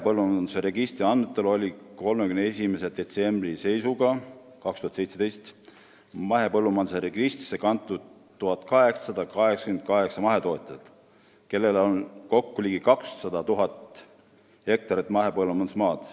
31. detsembri 2017 seisuga oli mahepõllumajanduse registrisse kantud 1888 mahetootjat, kellel on kokku ligi 200 000 hektarit mahepõllumajandusmaad.